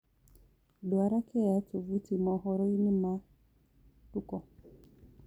ndwara kea tovuti mohoro-ĩnĩ ma tuko